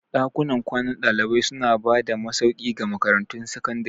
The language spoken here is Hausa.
Dakunan kwanan dalibai suna ba da masauki ga makarantun sakandare.